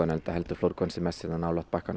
enda heldur hann sig mest hérna nálægt bakkanum